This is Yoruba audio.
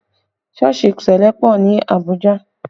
Sọ́ọ̀sì ṣẹlẹ pọ ní Abuja